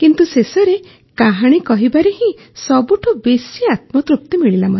କିନ୍ତୁ ଶେଷରେ କାହାଣୀ କହିବାରେ ହିଁ ସବୁଠୁ ବେଶୀ ଆତ୍ମତୃପ୍ତି ମିଳିଲା